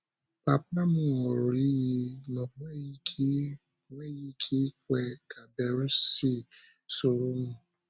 Pápa m ṅụrụ iyi na ọ nweghị ike nweghị ike ikwè ka Bérìsì soro m.